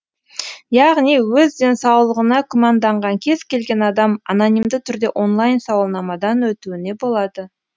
яғни өз денсаулығына күмәнданған кез келген адам анонимді түрде онлайн сауалнамадан өтуіне болады